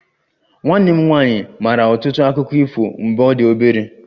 Nwanne m nwanyị maara ọtụtụ akụkọ ifo mgbe ọ dị obere